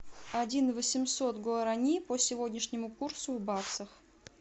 один восемьсот гуарани по сегодняшнему курсу в баксах